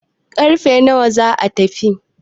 karfe nawa za a tafi?